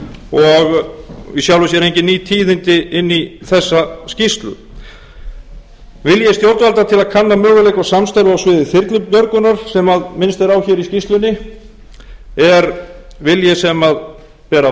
og í sjálfu sér engin ný tíðindi inn í þessa skýrslu vilji stjórnvalda til að kanna möguleika á samstarfi á sviði þyrlubjörgunar sem minnst er á hér í skýrslunni er vilji sem ber að